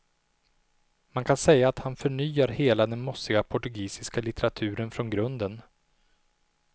Man kan säga att han förnyar hela den mossiga portugisiska litteraturen från grunden.